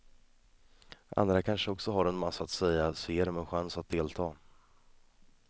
Andra kanske också har en massa att säga, så ge dem en chans att delta.